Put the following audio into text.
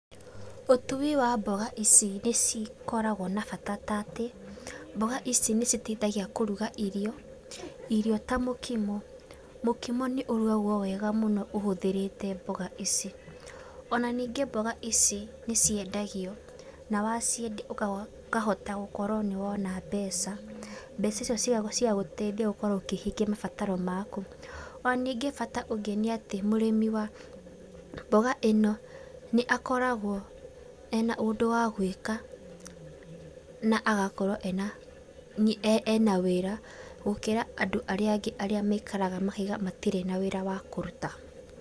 Ũtui wa mboga ici nĩcikoragwo na bata tatĩ, mboga ici nĩciteithagia kũruga irio, irio ta mũkimo. Mũkimo nĩũrugawo wega ũhũthĩrĩte mboga ici. Ona ningĩ mboga ici nĩciendagio na waciendia ũkahota gũkorwo nĩ wona mbeca, mbeca icio cigagũteithia gũkorwo ũkĩhingia mabataro maku. Ona nyingĩ bata ũngĩ nĩ atĩ, mũrĩmi wa mboga ĩno nĩakoragwo ena ũndũ wagũĩka na agakorwo ena, ena wĩra, gũkĩra andũ arĩa angĩ maikaraga makauga matirĩ na wĩra wa kũruta.